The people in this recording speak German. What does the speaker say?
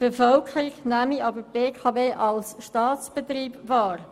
Die Bevölkerung nehme sie aber als Staatsbetrieb wahr.